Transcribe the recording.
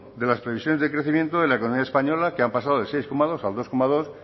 de las previsiones de crecimiento de la economía española que han pasado del seis coma dos al dos coma dos